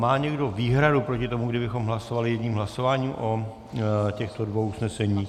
Má někdo výhradu proti tomu, kdybychom hlasovali jedním hlasováním o těchto dvou usneseních?